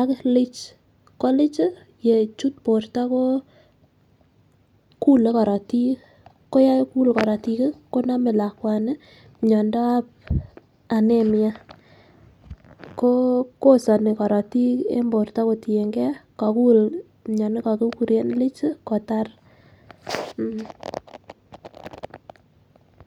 ak [ca]liche.ko liche chii ko yechut borto koo kule korotik ko yekuk korotik kii konome lakwani miondap anemia ko boishonik korotik en borto kotiyengee kokul mioni kokikure liche chii kotar.